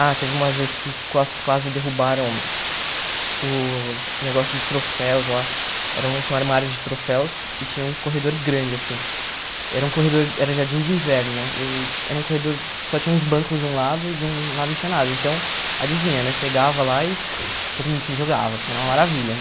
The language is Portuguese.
Ah, teve umas vezes que quase quase derrubaram o negócio de troféus lá, era um tinha um armário de troféus e tinha um corredor grande assim, era um corredor, era jardim de inverno, né, e era um corredor, só tinha uns bancos de um lado e de um lado não tinha nada, então, adivinha, né, pegava lá e todo mundo se jogava assim, era uma maravilha,